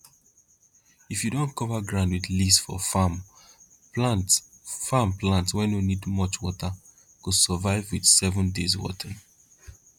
if you don cover ground with leaves for farm plant farm plant wey no need much water go survive with seven days watering